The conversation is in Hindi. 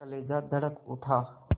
कलेजा धड़क उठा